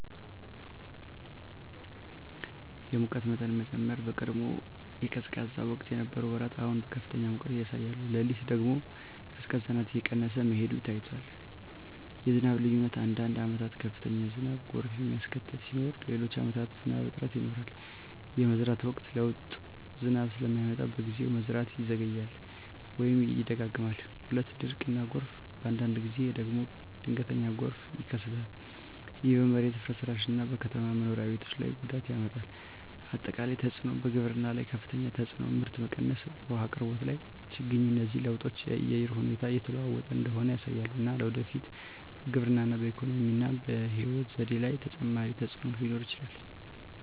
የሙቀት መጠን መጨመር በቀድሞ የቀዝቃዛ ወቅት የነበሩ ወራት አሁን ከፍተኛ ሙቀት ያሳያሉ። ሌሊት ደግሞ ቀዝቃዛነት እየቀነሰ መሄዱ ታይቷል። 2. የዝናብ ልዩነት አንዳንድ ዓመታት ከፍተኛ ዝናብ (ጎርፍ የሚያስከትል) ሲኖር፣ ሌሎች ዓመታት ዝናብ እጥረት ይኖራል። 3. የመዝራት ወቅት ለውጥ ዝናብ ስለማይመጣ በጊዜው፣ መዝራት ይዘገያል ወይም ይደጋገማል። 4. ድርቅ እና ጎርፍ በአንዳንድ ጊዜ ደግሞ ድንገተኛ ጎርፍ ይከሰታል። ይህ በመሬት ፍርስራሽ እና በከተማ መኖሪያ ቤቶች ላይ ጉዳት ያመጣል። 5. አጠቃላይ ተፅዕኖ በግብርና ላይ ከፍተኛ ተፅዕኖ (ምርት መቀነስ) በውሃ አቅርቦት ላይ ችግኝ እነዚህ ለውጦች የአየር ሁኔታ እየተለወጠ እንደሆነ ያሳያሉ፣ እና ለወደፊት በግብርና፣ በኢኮኖሚ እና በሕይወት ዘዴ ላይ ተጨማሪ ተፅዕኖ ሊኖር ይችላል።